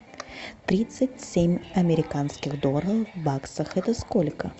тридцать семь американских долларов в баксах это сколько